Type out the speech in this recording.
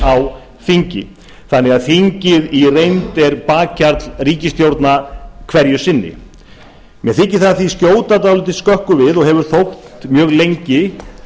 á þingi þannig að þingið í reynd er bakhjarl ríkisstjórna hverju sinni mér þykir það því skjóta dálítið skökku við og hefur þótt mjög lengi